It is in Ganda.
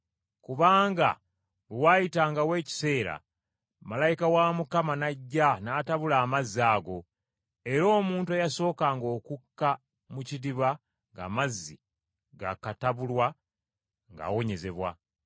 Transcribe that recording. Kubanga bwe waayitangawo ekiseera malayika wa Mukama n’ajja n’atabula amazzi ago, era omuntu eyasookanga okukka mu kidiba ng’amazzi gaakatabulwa, ng’awonyezebwa.